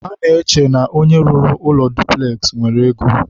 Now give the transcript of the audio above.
ha na-eche na onye rụrụ ụlọ dupules nwere ego.